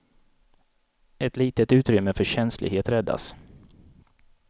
Ett litet utrymme för känslighet räddas.